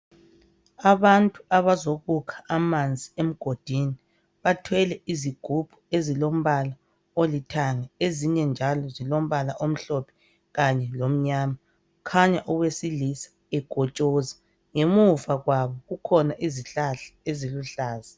Abantu abazokukha amanzi emgodini, bathwele izigubhu ezilombala olithanga. Izinye njalo zilombala amhlophe kanye lomnyama. Kukhanya owesilisa ekotshoza. Ngemuva kwabo kukhona izihlahla eziluhlaza.